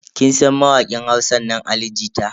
Kin san mawakin Hausa nan Ali jita?